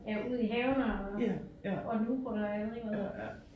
Øh ud i haven og og luge ukrudt og jeg ved ikke hvad